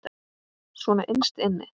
Svona innst inni.